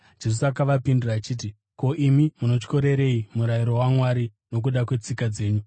Jesu akavapindura achiti, “Ko, imi munotyorerei murayiro waMwari nokuda kwetsika dzenyu?